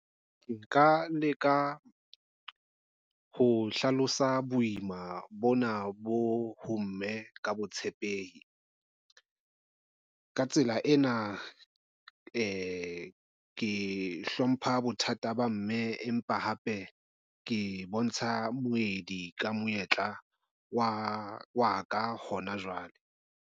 Nka leka ho hlalosa boima bona bo ho mme ka botshepehi. Ka tsela ena ke hlompha bothata ba mme empa hape ke bontsha moedi ka monyetla wa ka hona jwale.